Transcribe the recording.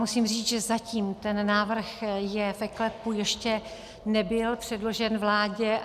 Musím říct, že zatím ten návrh je v eKLEPu, ještě nebyl předložen vládě.